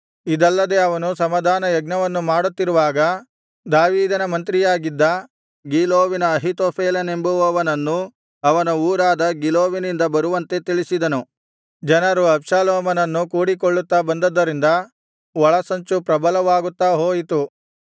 ಇದಲ್ಲದೆ ಅವನು ಸಮಾಧಾನ ಯಜ್ಞವನ್ನು ಮಾಡುತ್ತಿರುವಾಗ ದಾವೀದನ ಮಂತ್ರಿಯಾಗಿದ್ದ ಗೀಲೋವಿನ ಅಹೀತೋಫೆಲನೆಂಬುವನನ್ನು ಅವನ ಊರಾದ ಗೀಲೋವಿನಿಂದ ಬರುವಂತೆ ತಿಳಿಸಿದನು ಜನರು ಅಬ್ಷಾಲೋಮನನ್ನು ಕೂಡಿಕೊಳ್ಳುತ್ತಾ ಬಂದದ್ದರಿಂದ ಒಳಸಂಚು ಪ್ರಬಲವಾಗುತ್ತಾ ಹೋಯಿತು